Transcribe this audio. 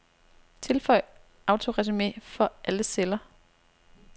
Tilføj autoresumé for alle celler.